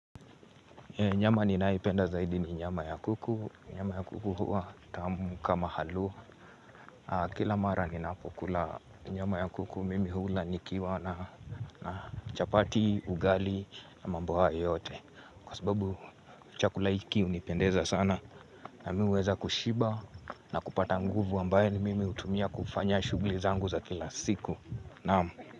Nyama ninayoipenda zaidi ni nyama ya kuku. Nyama ya kuku huwa tamu kama halua. Kila mara ninapokula nyama ya kuku mimi hula nikiwa na na chapati, ugali, ama mboga yoyote. Kwa sababu chakula hiki hunipendeza sana na mimi huweza kushiba na kupata nguvu ambayo ni mimi hutumia kufanya shughuli zangu za kila siku. Naam.